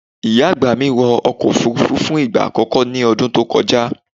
Ìyá àgbà mi wọ ọkọ̀ Òfurufú fún ìgbà àkọ́kọ́ ní ọdún tó kọjá.